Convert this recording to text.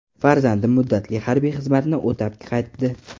Farzandim muddatli harbiy xizmatni o‘tab qaytdi.